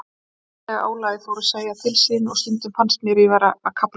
Andlega álagið fór að segja til sín og stundum fannst mér ég vera að kafna.